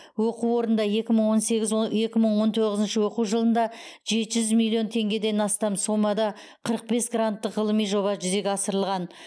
оқу орнында екі мың он сегіз е о екі мың он тоғызыншы оқу жылында жеті жүз миллион теңгеден астам сомада қырық бес гранттық ғылыми жоба жүзеге асырылған